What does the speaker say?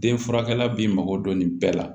Den furakɛla b'i mago dɔn nin bɛɛ la